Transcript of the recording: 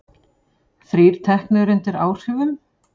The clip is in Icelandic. Þrír teknir undir áhrifum